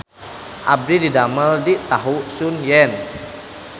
Abdi didamel di Tahu Sun Yen